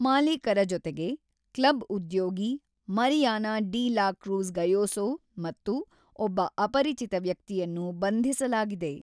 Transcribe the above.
ಮಾಲೀಕರ ಜೊತೆಗೆ, ಕ್ಲಬ್ ಉದ್ಯೋಗಿ Mariana de la Cruz Gayoso ಮತ್ತು ಒಬ್ಬ ಅಪರಿಚಿತ ವ್ಯಕ್ತಿಯನ್ನು ಬಂಧಿಸಲಾಗಿದೆ.